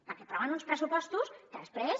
perquè aproven uns pressupostos que després